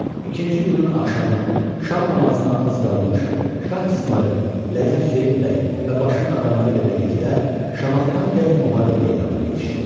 İkinci günün axşamı, şam namazına az qalmış, Şah İsmayıl, Lələ Hüseyn bəy və başının adamları ilə birlikdə Şamaxıdan gəlib müharibə meydanına yetişdi.